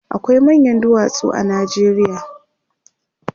akwai manyan duwatsu a Najeriya